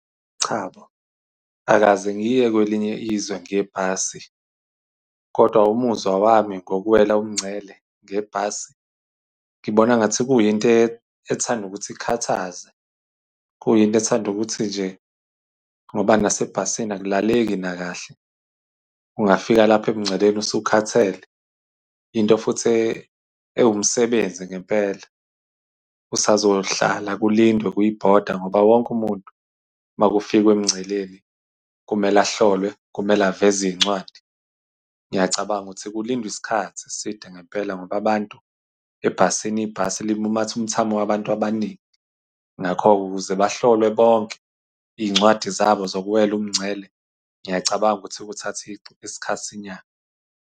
Cha bo, angikaze ngiye kwelinye izwe ngebhasi. Kodwa umuzwa wami ngokuwela umngcele ngebhasi ngibona ngathi kuyinto ethanda ukuthi ikhathaze, kuyinto ethanda ukuthi nje ngoba nasebhasini akulaleki nakahle. Ungafika lapho emngceleni usukhathele. Into futhi ewumsebenzi ngempela usazohlala kulindwe kwi-boarder, ngoba wonke umuntu uma kufikwa emngceleni kumele ahlolwe kumele aveze iy'ncwadi. Ngiyacabanga ukuthi kulindwa isikhathi eside ngempela ngoba abantu ebhasini, ibhasi limumathe umthamo wabantu abaningi. Ngakho-ke ukuze bahlolwe bonke, iy'ncwadi zabo zokuwela umngcele, ngiyacabanga ukuthi kuthathe isikhathi .